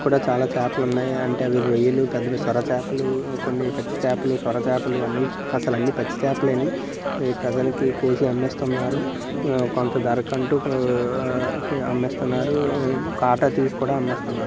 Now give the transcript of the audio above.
కూడా చాలా చాపలు ఉన్నాయి అంటే అవి రొయ్యలు పెద్ద-పెద్ద చాపలు సొర కొన్ని పచ్చి చేపలు సొర చాపలు అన్ని అసలు అన్ని పచ్చి చాప లే ప్రజలకు కోసి అమ్మేస్తున్నారు. కొంత ఉ ధర కు అంటూ ఉ ఉ అమ్మేస్తున్నారు. కాటా తీసి కూడా అమ్మేస్తున్నారు.